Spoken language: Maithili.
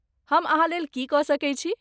हम अहाँलेल की कऽ सकैत छी?